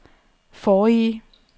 forrige